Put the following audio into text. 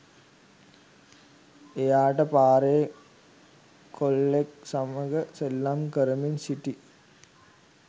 එයාට පාරේ කොල්ලෙක් සමග සෙල්ලම් කරමින් සිටි